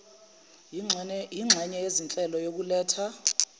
yinxenye yezinhlelo yokuletha